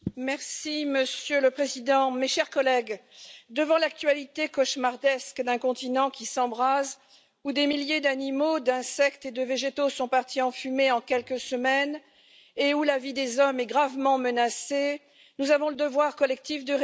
Monsieur le Président, mes chers collègues, devant l'actualité cauchemardesque d'un continent qui s'embrase, où des milliers d'animaux, d'insectes et de végétaux sont partis en fumée en quelques semaines et où la vie des hommes est gravement menacée, nous avons le devoir collectif de réagir.